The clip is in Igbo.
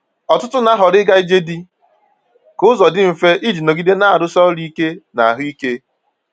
Ọtụtụ na-ahọrọ ịga ije dị ka ụzọ dị mfe iji nọgide na-arụsi ọrụ ike na ahụ ike.